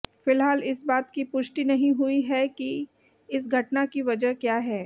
फिलहाल इस बात की पुष्टि नहीं हुई है कि इस घटना की वजह क्या है